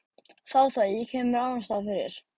Þá það, ég kem mér annarsstaðar fyrir.